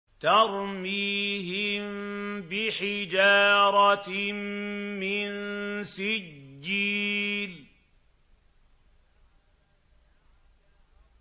تَرْمِيهِم بِحِجَارَةٍ مِّن سِجِّيلٍ